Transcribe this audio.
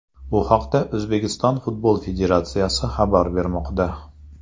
Bu haqda O‘zbekiston Futbol Federatsiyasi xabar bermoqda.